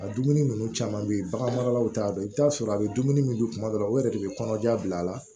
A dumuni ninnu caman bɛ ye bagan maralaw t'a dɔn i bɛ t'a sɔrɔ a bɛ dumuni min dun tuma dɔ la o yɛrɛ de bɛ kɔnɔja bila a la